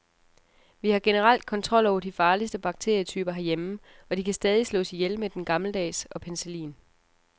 Vi har generelt kontrol over de farligste bakterietyper herhjemme, og de kan stadig slås ihjel med den gammeldags og penicillin.